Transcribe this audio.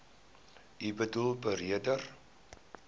u boedel beredder